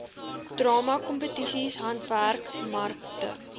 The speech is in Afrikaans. drama kompetisies handwerkmarkte